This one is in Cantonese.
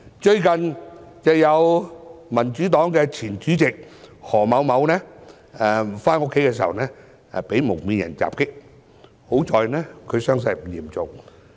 最近民主黨的前主席何先生在回家途中被蒙面人襲擊，幸好傷勢不嚴重。